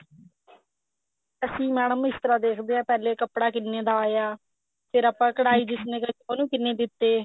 ਅਸੀਂ madam ਇਸ ਤਰ੍ਹਾਂ ਦੇਖਦੇ ਆ ਪਹਿਲੇ ਕੱਪੜਾ ਕਿੰਨੇ ਦਾ ਆਇਆ ਫੇਰ ਆਪਾਂ ਕਢਾਈ ਜਿਸਨੇ ਕੀਤੀ ਉਹਨੂੰ ਕਿੰਨੇ ਦਿੱਤੇ